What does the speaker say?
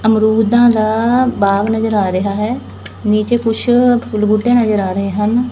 ਅਮਰੂਦਾਂ ਦਾ ਬਾਗ਼ ਨਜ਼ਰ ਆ ਰਿਹਾ ਹੈ ਨੀਚੇ ਕੁਛ ਕੁਛ ਬੂਟੇ ਨਜ਼ਰ ਆ ਰਹੇ ਹਨ।